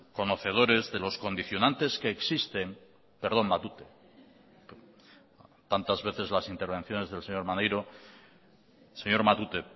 conocedores de los condicionantes que existen perdón matute tantas veces las intervenciones del señor maneiro señor matute